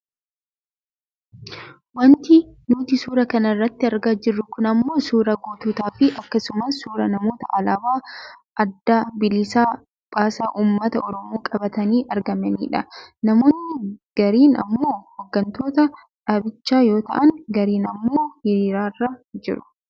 Wanti nuti suuraa kana irratti argaa jirru kun ammoo suuraa goototaa fii akkasumas suuraa namoota alaabaa Adda Bilisa Baasaa Uummata Oromoo qabatanii argamaniidha. Namoonni gariin ammoo hooggantoota dhaabichaa yoo ta'an gariin ammoo hiriirarra jiru.